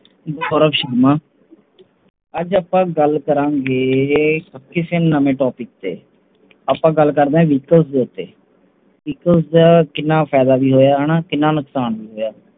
ਅੱਜ ਆਪਾਂ ਗੱਲ ਕਰਾਂਗੇ ਕਿਸੇ ਨਵੇਂ Topic ਦੇ ਉੱਤੇ ਆਪਾ ਗੱਲ ਕਰਦੇ ਹਾਂ Vehicle ਦੇ ਉੱਤੇ Vehicle ਕਿੰਨਾ ਫਾਇਦਾ ਵੀ ਹੋਇਆਂ ਤੇ ਨੁਕਸ਼ਾਨ ਵੀ ਹੋਇਆਂ